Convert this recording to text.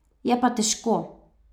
Je pa težko.